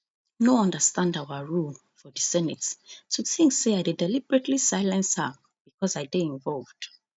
no understand our rule for di senate to think say i dey deliberately silence her becos i dey involved